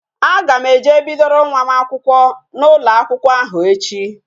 A ga m eje bidoro nwa m akwụkwọ n'ụlọ akwụkwọ ahụ echi